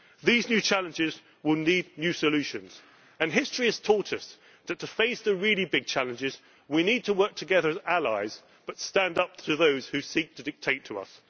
These new challenges will need new solutions, and history has taught us that to face the really big challenges we need to work together as allies but stand up to those who seek to dictate to us.